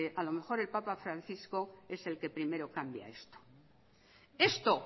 a lo mejor el papa francisco es el que primero cambia esto esto